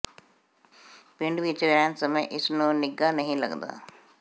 ਪਿੰਡ ਵਿਚ ਰਹਿਣ ਸਮੇਂ ਇਸ ਨੂੰ ਨਿੱਘਾ ਨਹੀਂ ਲੱਗਦਾ